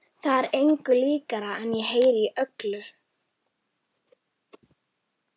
Það er engu líkara en ég heyri í öllu